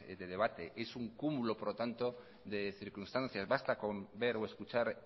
de debate es un cúmulo por lo tanto de circunstancias basta con ver o escuchar